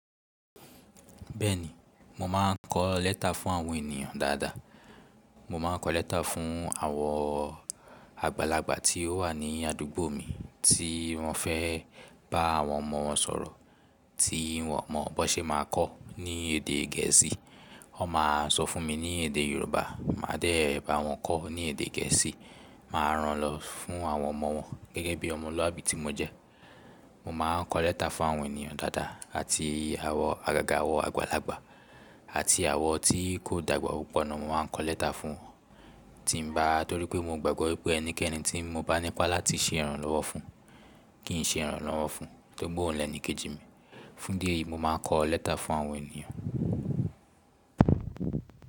Bẹ́ẹ̀ni, mo máa ń kọ lẹ́tà fún àwọn ènìyàn dáadáa. Mo máa ń kọ lẹ́tà fún àwọn àgbàlagbà tí ó wà ní àdúgbò mi tí wọ́n fẹ́ bá àwọn ọmọ wọn sọ̀rọ̀ tí wọn mo boṣe máa kọ́ ní èdè gẹ̀ẹ́sì. Wọ́n máa ń sọ fún mi ní èdè Yorùbá, màá dẹ̀ bá wọn kọ́ ní èdè gẹ̀ẹ́sì, màá ran lọ fún àwọn ọmọ wọn gẹ́gẹ́ bí ọmọlúàbí tí mo jẹ́. Mo máa ń kọ lẹ́tà fún àwọn ènìyàn dáadáa àti àwọn àgàgà àwọn àgbàlagbà àti àwọn tí kò dàgbà púpọ̀ náà mo máa ń kọ lẹ́tà fún, tí ń bá torí pé mo gbàgbọ́ wípé ẹnikẹ́ni tí mo bá ní ipá láti ṣe ìrànlọ́wọ́ fún, kí n ṣe ìrànlọ́wọ́ fún, tóto oun ni enikejì mi. Fún dí eyìí mo máa ń kọ lẹ́tà fún àwọn ènìyàn.